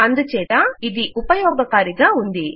అందుచేత ఇది ఉపయోగకారి గా ఉంది